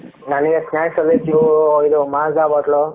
ನನಗೆ snacks ಅಂದ್ರೆ ಇದು mazza bottle ಲು